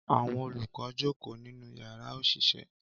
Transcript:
Àwọn olùkọ́ jókòó nínú yàrá òṣìṣẹ́